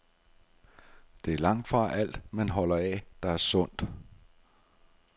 Det er langtfra alt, man holder af, der er sundt.